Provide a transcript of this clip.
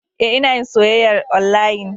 E, Ina yin soyyayar onlayin.